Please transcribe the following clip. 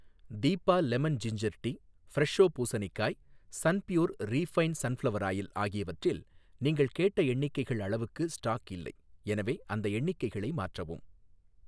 டிபா lemon ginger tea, Fresho பூசணிக்காய், Sunpure refined sunflower oil ஆகியவற்றில் நீங்கள் கேட்ட எண்ணிக்கைகள் அளவுக்கு ஸ்டாக் இல்லை, எனவே அந்த எண்ணிக்கைகளை மாற்றவும்.